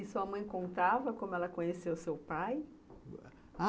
E sua mãe contava como ela conheceu o seu pai?